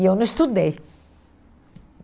E eu não estudei.